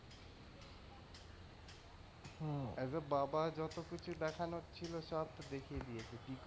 Hmm as a বাবা যত কিছু দেখানোর ছিল চাপ তো দেখিয়ে দিয়েছে।